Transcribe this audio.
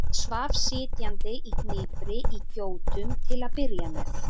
Hann svaf sitjandi í hnipri í gjótum til að byrja með.